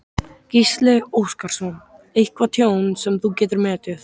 Gísli Óskarsson: Eitthvað tjón sem þú getur metið?